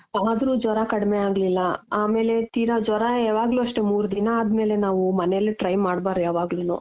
ಆದ್ರೂ ಜ್ವರ ಕಡ್ಮೆ ಆಗ್ಲಿಲ್ಲ ಆಮೇಲೆ ತೀರಾ ಜ್ವರ ಯಾವಗ್ಲೂ ಅಷ್ಟೇ ಮೂರ್ ದಿನ ಅದ್ಮೇಲೆ ನಾವು ಮನೇಲೆ try ಮಾಡ್ಬಾರ್ದು ಯಾವಗ್ಲೂನು.